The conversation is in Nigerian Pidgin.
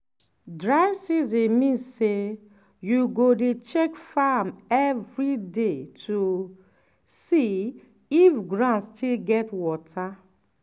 dry season mean say you go dey check farm every day to see if ground still get water.